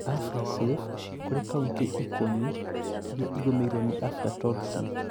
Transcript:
Aflasafe kũrĩ kauntĩ ikũmi iria igũmĩirwo nĩ Aflatoxin